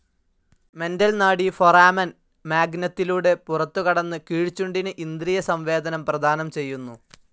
Mental നാഡി foramen മാഗ്നത്തിലൂടെ പുറത്തുകടന്ന് കീഴ്ച്ചുണ്ടിന് ഇന്ദ്രിയ സംവേദനം പ്രദാനം ചെയ്യുന്നു.